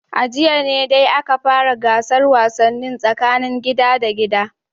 A jiya ne dai aka fara gasar wasannin tsakanin gida da gida